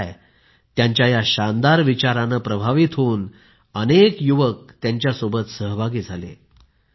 मग काय त्यांच्या या शानदार विचाराने प्रभावित होऊन अनेक युवक त्यांच्याबरोबर सहभागी झाले